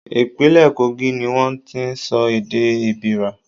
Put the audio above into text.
Ìpínlẹ̀ Kogi ni wón ti ń sọ èdè Èbìrà.